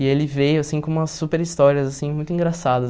E ele veio assim com umas super histórias assim muito engraçadas.